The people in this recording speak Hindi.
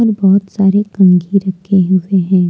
बहुत सारे कन्घी रखे हुए हैं।